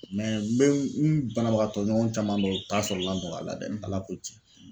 n bɛ n banabagatɔ ɲɔgɔn caman dɔn u ta sɔrɔ la jɔn k'Ala dɛ, Ala ko tiɲɛ .